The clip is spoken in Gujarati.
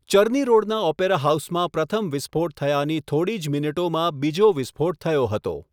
ચર્ની રોડના ઓપેરા હાઉસમાં પ્રથમ વિસ્ફોટ થયાની થોડી જ મિનિટોમાં બીજો વિસ્ફોટ થયો હતો.